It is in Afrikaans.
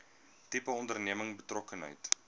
tipe onderneming betrokkenheid